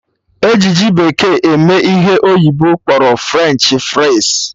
E ji ji bekee eme ihe ndị oyibo kpọrọ French fries